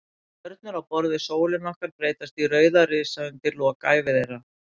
Stjörnur á borð við sólina okkar breytast í rauða risa undir lok ævi þeirra.